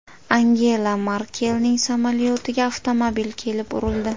Angela Merkelning samolyotiga avtomobil kelib urildi.